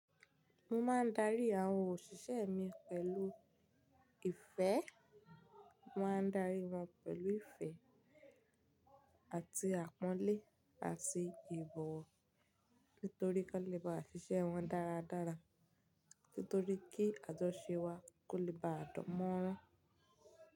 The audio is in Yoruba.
Mo máa ń darí àwọn òṣìṣẹ́ mi pẹ̀lú ìfẹ́, mo máa ń darí wọn pẹ̀lú ìfẹ́ àti àpọ́nlé àti ìbọ̀wọ̀. Nítorí kí wón lè ba ṣìṣẹ́ wọn dáradára, nítorí kí àjọṣe wa kó lè baà dan mọ́ran.